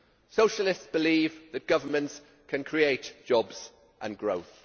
Socialists believe that governments can create jobs and growth.